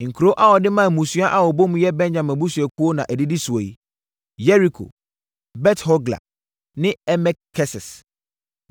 Nkuro a wɔde maa mmusua a wɔbɔ mu yɛ Benyamin abusuakuo na ɛdidi soɔ yi: Yeriko, Bet-Hogla ne Emek-Kesis,